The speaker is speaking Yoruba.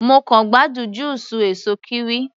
Mo kàn gbádùn júùsù èsó kiwi.